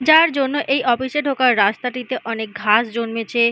যার জন্য এই অফিস -এ ঢোকার রাস্তাটিতে অনেক ঘাস জন্মেছে-এ--